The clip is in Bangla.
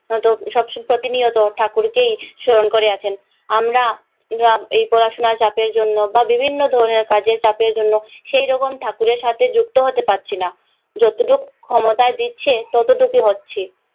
তো সব নিয়েও তো ঠাকুরকেই স্মরণ করে আছেন। আমরা পড়াশুনার জন্যে বা বিভিন্ন ধরণের কাজের চাপের জন্যে সেই রকম ঠাকুরের সাথে যুক্ত হতে পারছি না। যতটুক ক্ষমতায় দিচ্ছে ততটুকই হচ্ছি।